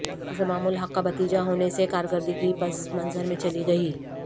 انضمام الحق کا بھتیجا ہونے سے کارکردگی پس منظر میں چلی گئی